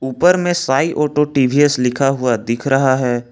ऊपर में सांई ऑटो टी_वी_एस लिखा हुआ दिख रहा है।